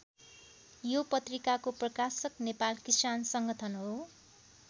यो पत्रिकाको प्रकाशक नेपाल किसान सङ्गठन हो।